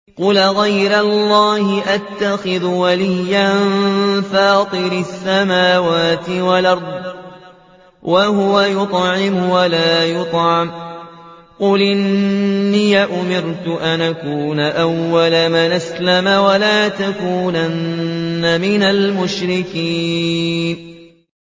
قُلْ أَغَيْرَ اللَّهِ أَتَّخِذُ وَلِيًّا فَاطِرِ السَّمَاوَاتِ وَالْأَرْضِ وَهُوَ يُطْعِمُ وَلَا يُطْعَمُ ۗ قُلْ إِنِّي أُمِرْتُ أَنْ أَكُونَ أَوَّلَ مَنْ أَسْلَمَ ۖ وَلَا تَكُونَنَّ مِنَ الْمُشْرِكِينَ